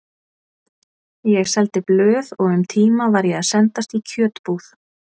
Ég seldi blöð og um tíma var ég að sendast í kjötbúð.